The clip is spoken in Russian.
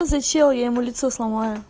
за всё я ему лицо сломаю